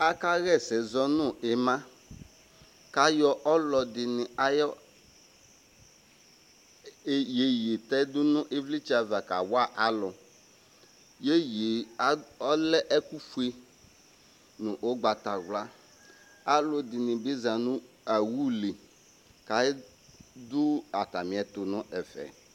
aka ɣa ɛsɛ zɔ no ima k'ayɔ ɔloɛdini ayi yeye tɛ do no ivlitsɛ ava kawa alò yeye ɔlɛ ɛkò fue no ugbata wla aloɛdini bi za no owu li k'ado atamiɛto no ɛfɛ